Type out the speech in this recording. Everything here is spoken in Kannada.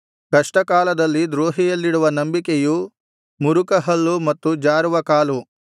ಕಷ್ಟಕಾಲದಲ್ಲಿ ದ್ರೋಹಿಯಲ್ಲಿಡುವ ನಂಬಿಕೆಯು ಮುರುಕಹಲ್ಲು ಮತ್ತು ಜಾರುವ ಕಾಲು